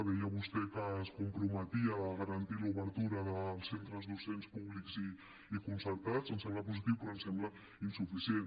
deia vostè que es comprometia a garantir l’obertura dels centres docents públics i concertats em sembla positiu però em sembla insuficient